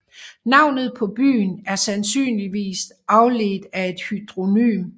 Navnet på byen er sandsynligvis afledt af et hydronym